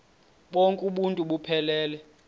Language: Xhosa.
bonk uuntu buphelele